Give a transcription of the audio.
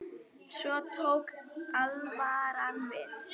Svo tók alvaran við.